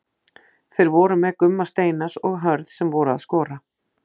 Þeir voru með Gumma Steinars og Hörð sem voru að skora.